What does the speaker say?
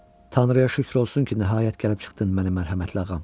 Tanrıya şükür olsun ki, nəhayət gəlib çıxdın mənim mərhəmətli ağam.